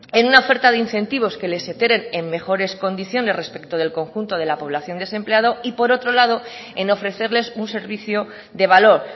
en una oferta de incentivos que en mejores condiciones respecto del conjunto de la población desempleada y por otro lado en ofrecerles un servicio de valor